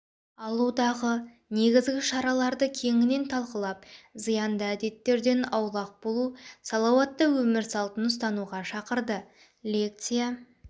алудағы негізгі шараларды кеңінен талқылап зиянды әдеттерден аулақ болу салауатты өмір салтын ұстануға шақырды лекция